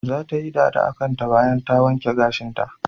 Zata yi dada akanta bayan ta wanke gashinta.